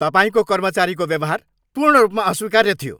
तपाईँको कर्मचारीको व्यवहार पूर्ण रूपमा अस्वीकार्य थियो।